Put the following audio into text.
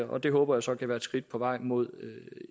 og det håber jeg så kan være et skridt på vejen mod